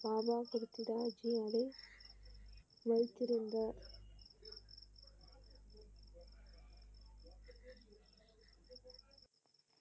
பாபா கிருத்திட ஜியோடு வைத்திருந்த.